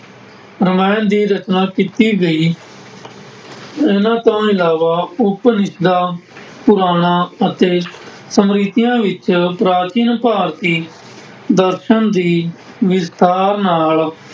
ਰਮਾਇਣ ਦੀ ਰਚਨਾ ਕੀਤੀ ਗਈ। ਇਹਨਾ ਤੋਂ ਇਲਾਵਾ ਉਪਨਿਸ਼ਦਾ, ਪੁਰਾਣ ਅਤੇ ਸਮਰੀਤੀਆਂ ਵਿੱਚ ਪ੍ਰਾਚੀਨ ਭਾਰਤ ਦੀ ਦਰਸ਼ਨ ਦੀ ਵਿਸਥਾਰ ਨਾਲ